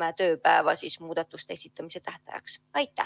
määrata muudatuste esitamise tähtajaks kümme tööpäeva.